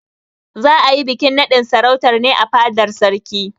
Za a yi bikin naɗin sarautar ne a fadar sarki.